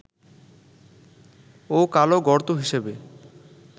ও কালো গর্ত হিসেবে